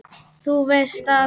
Þú veist að.